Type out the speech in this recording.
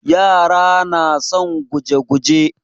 Yara na son guje-guje.